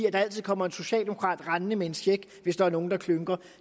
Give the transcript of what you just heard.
at der altid kommer en socialdemokrat rendende med en check hvis der er nogle der klynker